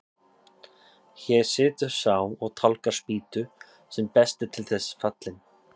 Hér situr sá og tálgar spýtu sem best er til þess fallinn.